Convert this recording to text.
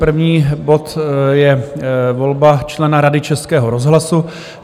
První bod je volba člena Rady Českého rozhlasu.